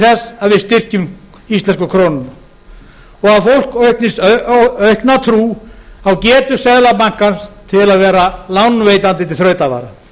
að við styrkjum íslensku krónuna og að fólk eignist aukna trú á getu seðlabankans til að vera lánveitanda til þrautavara